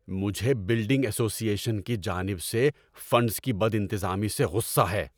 مجھے building association کی جانب سے فنڈز کی بدانتظامی سے غصہ ہے۔